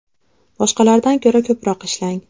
Boshqalardan ko‘ra ko‘proq ishlang.